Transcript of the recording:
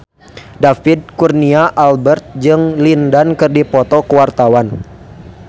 David Kurnia Albert jeung Lin Dan keur dipoto ku wartawan